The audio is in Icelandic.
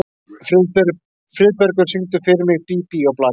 Friðbergur, syngdu fyrir mig „Bí bí og blaka“.